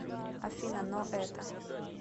афина но это